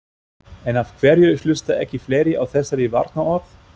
En af hverju hlusta ekki fleiri á þessari varnarorð?